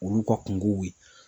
Olu ka kungow kɛ